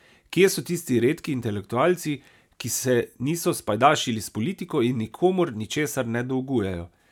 Kje so tisti redki intelektualci, ki se niso spajdašili s politiko in nikomur ničesar ne dolgujejo?